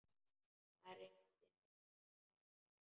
Það rigndi enn úti.